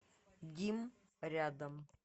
дим рядом